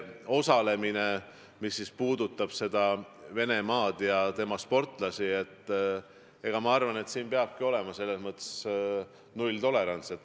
Nüüd, mis puudutab Venemaad ja tema sportlaste osalemist olümpiatel, siis ma arvan, et siin peab kehtima nulltolerants.